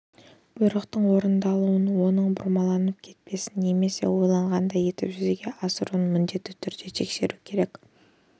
бұйрықтың орындалуын оның бұрмаланып кетпесін немесе ойлағандай етіп жүзеге асырылуын міндетті түрде тексеру керек